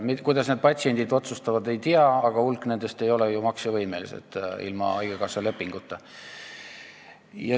Ei tea, kuidas patsiendid otsustavad, aga hulk nendest ei ole ju ilma haigekassa lepinguta maksevõimelised.